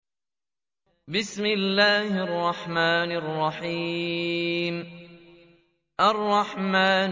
الرَّحْمَٰنُ